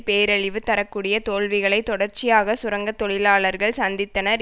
பேரழிவு தர கூடிய தோல்விகளைத் தொடர்ச்சியாகச் சுரங்க தொழிலாளர்கள் சந்தித்தனர்